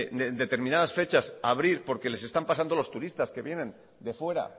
de en determinadas fechas abrir porque les están pasando los turistas que vienen de fuera